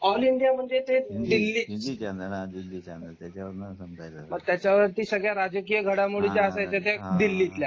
all India म्हणजे ते Delhi channel त्याच्यावरती सगळ्या राजकीय घडामोडीं आहे ते दिल्ली च्या